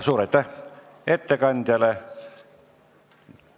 Suur aitäh ettekandjale!